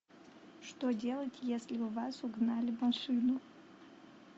что делать если у вас угнали машину